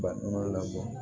Baŋolo la